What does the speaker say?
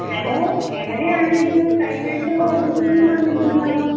Hello. എവിടെയാണിത്? കഴിഞ്ഞ ആഴ്ച കോളേജിൽ ഒന്നും വന്നില്ലല്ലോ